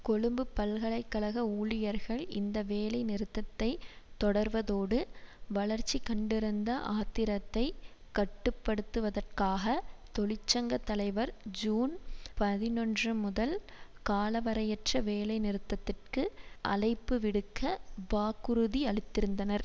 கொழும்பு பல்கலை கழக ஊழியர்கள் இந்த வேலைநிறுத்தத்தை தொடர்வதோடு வளர்ச்சிகண்டிருந்த ஆத்திரத்தை கட்டு படுத்துவதற்காக தொழிற்சங்க தலைவர் ஜூன் பதினொன்று முதல் காலவரையறையற்ற வேலை நிறுத்தத்திற்கு அழைப்பு விடுக்க வாக்குறுதியளித்திருந்தனர்